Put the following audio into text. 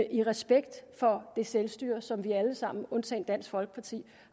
i respekt for det selvstyre som vi alle sammen undtagen dansk folkeparti